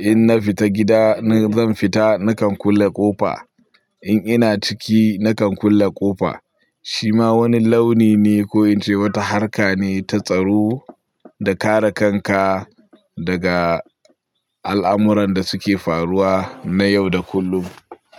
In na fita gida, in zan fita na kan kulle ƙofa. In ina ciki na kan kulle ƙofa. Shi ma wani launi ne ko in ce wata harka ne ta tsaro da kare kanka daga al'amuran da suke faruwa na yau da kullum.